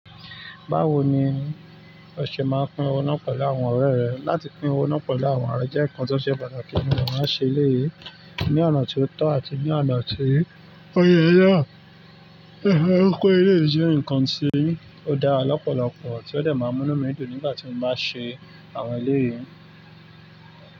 Báwo ni oṣe máa pín owó náà pẹ̀lú àwọn ọ̀rẹ́ rẹ̀? Látì pín owó náà pẹ̀lú àwọn ọ̀rẹ́ jẹ́ nǹkan tó ṣe pàtàkì mo dẹ̀ máa ń ṣe eléyìí, ní ọ̀nà tí ó tọ́ àti ní ọ̀nà tí ó yẹ náà. Ó kó ilé yìí jẹ́ nǹkan tí ó dára lọ́pọ̀lọpọ̀ tí ó dẹ̀ máa múnú mí dùn nígbà tí ń bá ṣe àwọn èléyìí.